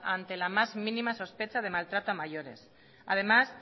ante la más mínima sospecha de maltrato a mayores además